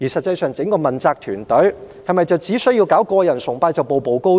整個問責團隊是否只需要搞個人崇拜便可以步步高升？